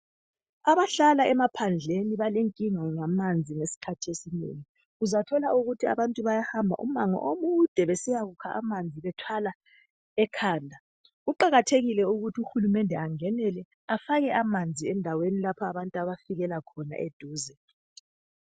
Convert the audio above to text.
Abahlala emaphandleni balenkinga ngamanzi esikhathini esinengi. Uzathola ukuthi abantu bayahamba umango omude besiyakukha amanzi bethwala ekhanda. Kuqakathekile ukuthi uhulumende angenele afake amanzi endaweni lapha abantu abafikela khona eduze.